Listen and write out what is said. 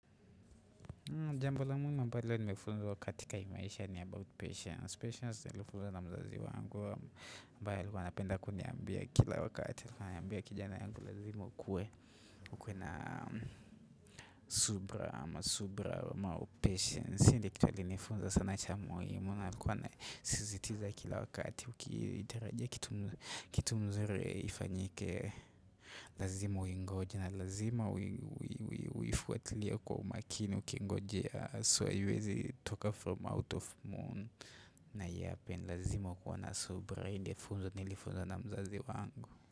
Jambo la muhimu nilifunzwa katika hii maisha ni about patience. Patience nilifunzwa na mzazi wangu ambaye alikuwa anapenda kuniambia kila wakati. Kijana yangu lazima ukuwe ukuwe na subira ama subra ama patience. Hii ni kituwa ilinifunza sana cha muhimu na alikuwa ana sisitiza kila wakati Ukitirajia kitu mzuri ifanyike lazima uingoje na lazima ui ui ui uifuatilie kwa umakini ukingojea haswa haiwezi toka from out of moon. Na ya pen lazima kuwana subrain funzo nilifunzo na mzazi wangu.